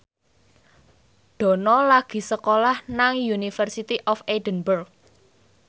Dono lagi sekolah nang University of Edinburgh